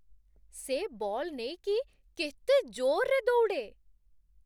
ସେ ବଲ୍ ନେଇକି କେତେ ଜୋର୍‌ରେ ଦୌଡ଼େ!